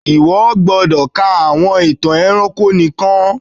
íwọ gbódọ kà àwọn ìtàn ẹranko nìkàn!